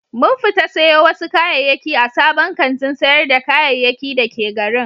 Mun fita sayo wasu kayayyaki a sabon kantin sayar da kayayyaki da ke garin.